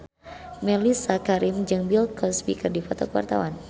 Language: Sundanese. Mellisa Karim jeung Bill Cosby keur dipoto ku wartawan